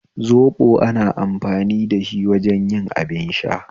Zoɓo ana amfani da shi wajen yin abin sha